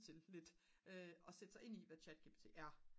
til lidt at sætte sig ind i hvad chatgpt er